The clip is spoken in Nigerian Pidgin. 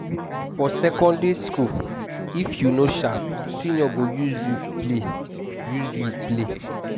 for secondary school if you no sharp seniors go use you play use you play